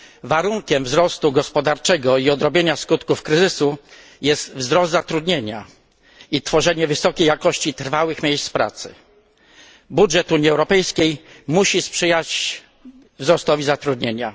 Warunkiem wzrostu gospodarczego i odrobienia skutków kryzysu jest wzrost zatrudnienia i tworzenie wysokiej jakości trwałych miejsc pracy. Budżet Unii Europejskiej musi sprzyjać wzrostowi zatrudnienia.